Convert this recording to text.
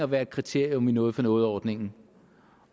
være et kriterium i noget for noget ordningen